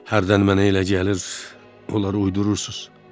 Hardan mənə elə gəlir, onları uydurursuz.